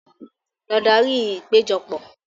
Lọ darí ìpéjọpọ̀!